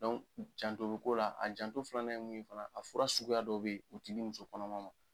janto bɛ ko la, a janto filanan ye mun ye fana, a fura suguya dɔw bɛ o tɛ di muso kɔnɔma ma.